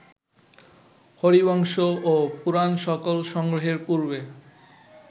হরিবংশ ও পুরাণ সকল সংগ্রহের পূর্বে